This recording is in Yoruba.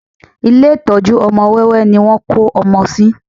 Ilé ìtọ́jú ọmọ wẹ́wẹ́ ni wọ́n kó ọmọ sí